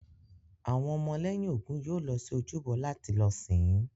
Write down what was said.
Àwọn ọmọ lẹ́yìn Ògún yóò lọ sí ojúbọ láti lọ sìn-ín